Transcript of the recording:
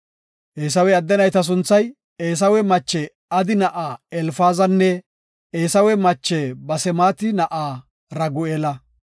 Eesawe adde nayta sunthay, Eesawe mache Adi na7aa Elfaazanne Eesawe mache Basemaati na7a Ragu7eela.